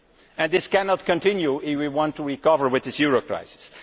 and this cannot continue if we want to recover from this euro crisis.